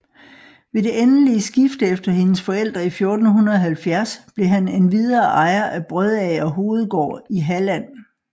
Ved det endelige skifte efter hendes forældre i 1470 blev han endvidere ejer af Brødager Hovedgård i Halland